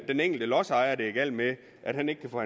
den enkelte lodsejer det er galt med at han ikke kan få